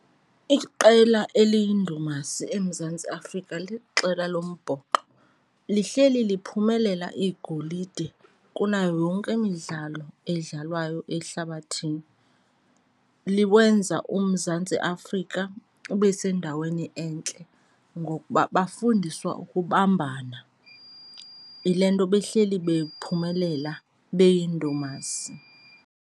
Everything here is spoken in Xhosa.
Iqela eliyindumasi eMzantsi Afrika liqela lombhoxo. Lihleli liphumelela igolide kunayo yonke imidlalo edlalwayo ehlabathini, liwenza uMzantsi Afrika ube sendaweni entle ngokuba bafundiswa ukubambana. Yile nto behleli bephumelela, beyindumasi.